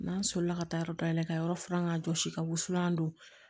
N'an solila ka taa yɔrɔ dayɛlɛ ka yɔrɔ furan k'a jɔsi ka wusulan don